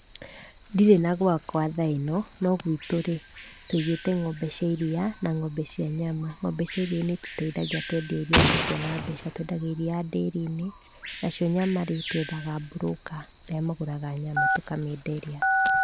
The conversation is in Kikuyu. Ndirĩ na gwakwa tha-ĩno, no gwitũ-rĩ, tũigĩte ng'ombe cia iria, na ng'ombe cia nyama. Ng'ombe cia iria nĩ itũteithagia twendie iria tũkona mbeca. Twendagia iria ndĩri-inĩ, nacio nyama-rĩ, twethaga mburũka aria magũraga nyama tũkamenderia.